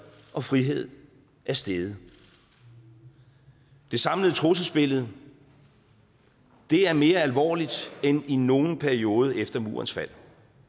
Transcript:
og frihed er steget det samlede trusselsbillede er mere alvorligt end i nogen anden periode efter murens fald